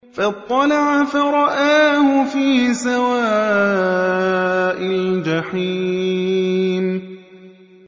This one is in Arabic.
فَاطَّلَعَ فَرَآهُ فِي سَوَاءِ الْجَحِيمِ